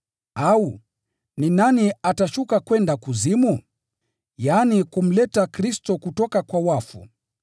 “au ‘Ni nani atashuka kwenda kuzimu?’ ” (yaani ili kumleta Kristo kutoka kwa wafu.)